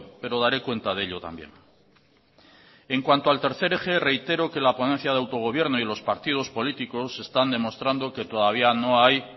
pero daré cuenta de ello también en cuanto al tercer eje reitero que la ponencia de autogobierno y los partidos políticos están demostrando que todavía no hay